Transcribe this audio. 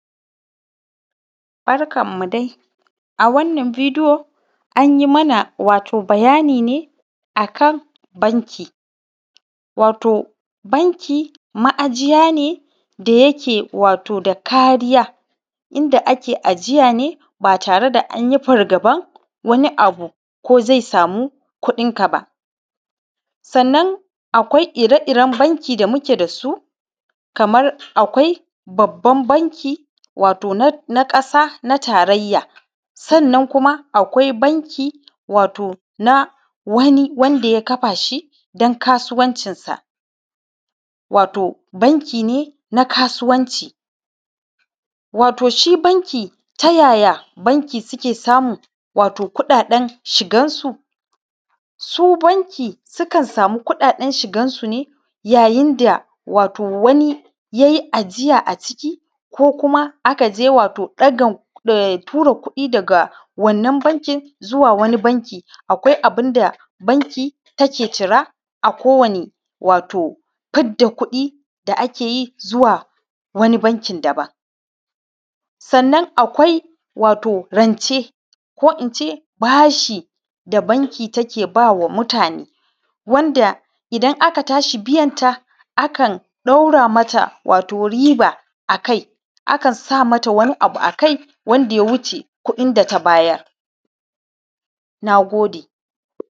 Barkanmu dai, a wannan bidiyo an yi mana bayani ne wato akan banki. Wato banki ma'ajiya ne da yake da kariya, inda ake ajiya ba tare da an yi fargaban wani abu ko zai sami kuɗinka ba. Sannan akwai ire-iren banki da muke da su, kamar: akwai babban bankin ƙasa na tarayya, sannan kuma akwai banki wato na wani wanda ya kafa shi don kasuwancinsa, wato bankin kasuwanci. Wato, shi banki ta ya ya wasu banki suke samun kuɗaɗen shigansu? Su banki sukan sami kuɗaɗen shigansu ne yayin da wani ya yi ajiya a ciki, ko kuma aka je a tura kuɗi daga wannan banki zuwa wani banki. Akwai abunda banki teke cira a kowani fidda kuɗi da ake yi zuwa wani bankin daban. Sannan akwai rance ko in ce bashi da banki take bawa mutane. Wanda idan aka sake biyanta, akan ɗaura masa wato riba akai akan sa masa wani abu akai wanda ya wuce kuɗin da ka bayar. Na gode.